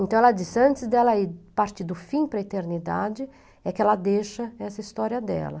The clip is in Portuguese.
Então, ela disse, antes dela partir do fim para a eternidade, é que ela deixa essa história dela.